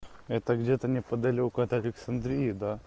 это где-то неподалёку от александрии да